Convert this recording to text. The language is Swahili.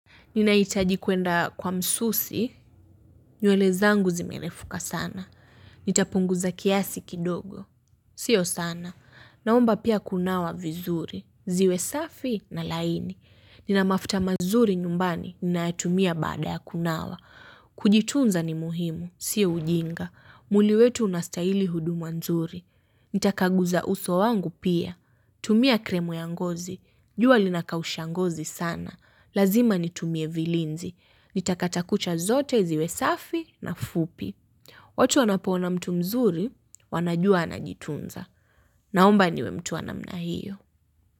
Ninahitaji kwenda kwa msusi, nywele zangu zimerefuka sana. Nitapunguza kiasi kidogo. Sio sana. Naomba pia kunawa vizuri. Ziwe safi, na laini. Nina mafuta mazuri nyumbani, ninayatumia baada ya kunawa. Kujitunza ni muhimu, sio ujinga. Mwili wetu unastaili huduma nzuri. Nitakaguza uso wangu pia. Tumia kremu ya ngozi. Jua linakausha ngozi sana. Lazima nitumie vilinzi. Nitakata kucha zote ziwe safi, na fupi. Watu wanapoona mtu mzuri, wanajua anajitunza. Naomba niwe mtu wa namna hiyo.